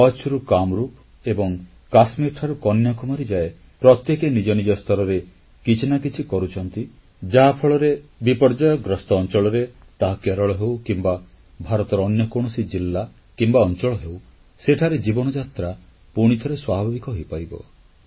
କଚ୍ଛରୁ କାମରୂପ ଏବଂ କାଶ୍ମୀରଠାରୁ କନ୍ୟାକୁମାରୀ ଯାଏ ପ୍ରତ୍ୟେକେ ନିଜ ନିଜ ସ୍ତରରେ କିଛି ନା କିଛି କରୁଛନ୍ତି ଯାହାଫଳରେ ବିପର୍ଯ୍ୟୟଗ୍ରସ୍ତ ଅଂଚଳରେ ତାହା କେରଳ ହେଉ କିମ୍ବା ଭାରତର ଅନ୍ୟ କୌଣସି ଜିଲ୍ଲା କିମ୍ବା ଅଂଚଳ ହେଉ ସେଠାରେ ଜୀବନଯାତ୍ରା ପୁଣିଥରେ ସ୍ୱାଭାବିକ ହୋଇପାରିବ